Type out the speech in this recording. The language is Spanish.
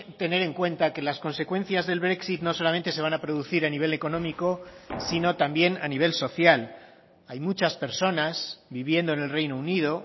tener en cuenta que las consecuencias del brexit no solamente se van a producir a nivel económico sino también a nivel social hay muchas personas viviendo en el reino unido